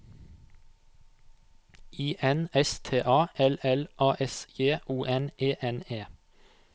I N S T A L L A S J O N E N E